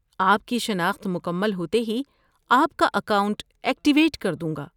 آپ کی شناخت مکمل ہوتے ہی میں آپ کا اکاؤنٹ ایکٹیویٹ کر دوں گا۔